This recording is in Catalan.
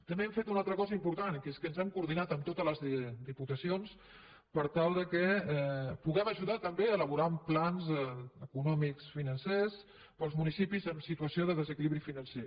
també hem fet una altra cosa important que és que ens hem coordinat amb totes les diputacions per tal que puguem ajudar també a elaborar plans econòmics financers per als municipis en situació de desequilibri financer